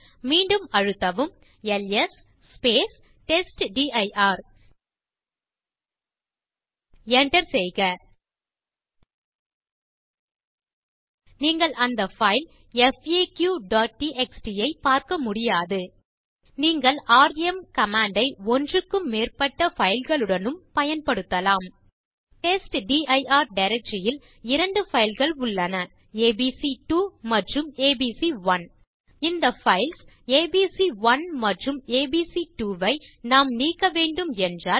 மீண்டும் அழுத்தவும் LS testdir enter செய்க நீங்கள் அந்த பைல் faqடிஎக்ஸ்டி ஐ பார்க்க முடியாது நீங்கள் ராம் கமாண்ட் ஐ ஒன்றுக்கும் மேற்பட்ட பைல் களுடனும் பயன்படுத்தலாம் டெஸ்ட்டிர் டைரக்டரி யில் இரண்டு பைல் கள் உள்ளன ஏபிசி2 மற்றும் ஏபிசி1 இந்த பைல்ஸ் ஏபிசி1 மற்றும் ஏபிசி2 ஐ நாம் நீக்க வேண்டும் என்றால்